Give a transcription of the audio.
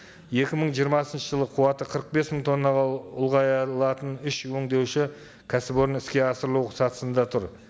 екі мың жиырмасыншы жылы қуаты қырық бес мың тоннаға үш өндеуші кәсіпорны іске асырылу сатысында тұр